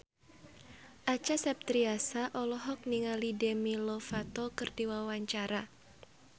Acha Septriasa olohok ningali Demi Lovato keur diwawancara